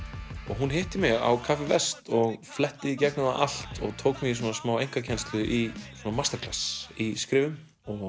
hún hitti mig á og fletti í gegnum það allt og tók mig í í skrifum